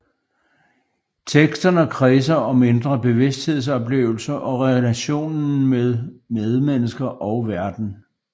Teksterne kredser om indre bevidsthedsoplevelser og relationen med medmennesker og verden